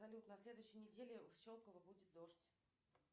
салют на следующей неделе в щелково будет дождь